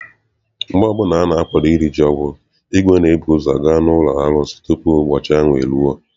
Mgbe ọbụla ana-akwado iri ji ọhụụ, igwe ga ebuzo gaa n'ụlọ arụsị tupu ụbọchị ahụ eruo.